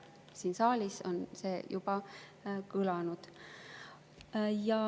Siin saalis on see juba kõlanud.